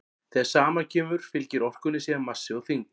þegar saman kemur fylgir orkunni síðan massi og þyngd